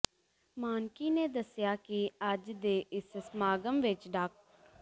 ਮਾਣਕੀ ਨੇ ਦੱਸਿਆ ਕਿ ਅੱਜ ਦੇ ਇਸ ਸਮਾਗਮ ਵਿਚ ਡਾ